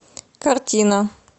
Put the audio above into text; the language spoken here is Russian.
картина